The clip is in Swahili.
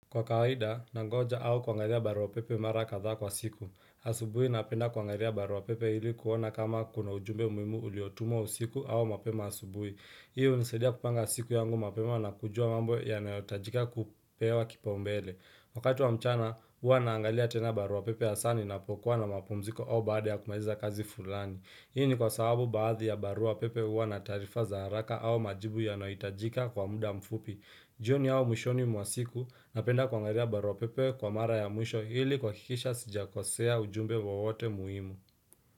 Kwa kawaida, nangoja au kuangalia barua pepe mara kadhaa kwa siku. Asubuhi napenda kuangalia barua pepe ili kuona kama kuna ujumbe muhimu uliotumo usiku au mapema asubuhi. Hii hunisadia kupanga siku yangu mapema na kujua mambo yanaotajika kupewa kipaombele. Wakati wa mchana, huwa naangalia tena barua pepe hasa ninapokuwa na mapumziko au baada ya kumaliza kazi fulani. Hii ni kwa sababu baadhi ya barua pepe huwa na taarifa za haraka au majibu yanaohitajika kwa muda mfupi. Jioni au mwishoni mwasiku napenda kuangalia baruapepe kwa mara ya mwisho ili kuhakikisha sijakosea ujumbe wowote muhimu.